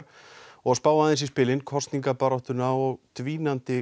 og spá aðeins í spilin kosningabaráttuna og dvínandi